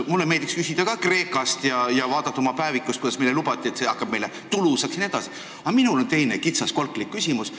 Mulle meeldiks küsida ka Kreeka kohta ja vaadata oma päevikust, kuidas meile lubati, et see kujuneb meile tulusaks jne, aga ma küsin kitsalt kolkaliku küsimuse.